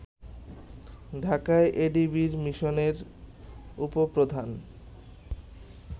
ঢাকায় এডিবির মিশনের উপপ্রধান